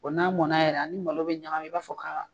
O n'a mɔnna yɛrɛ ani malo bɛ ɲagami i b'a fɔ ka